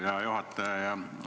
Hea juhataja!